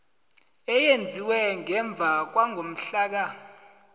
eyenziwe ngemva kwangomhlaka